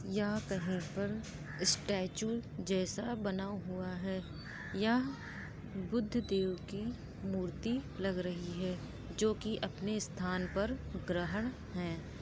यह कहीं पर स्टैचू जैसा बना हुआ है। यह बुद्धदेव की मूर्ति लग रही है। जोकि अपने स्थान पर ग्रहण है।